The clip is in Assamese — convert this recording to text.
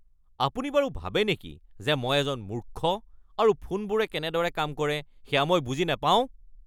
আপুনি বাৰু ভাবে নেকি যে মই এজন মূৰ্খ আৰু ফোনবোৰে কেনেদৰে কাম কৰে সেয়া মই বুজি নাপাওঁ?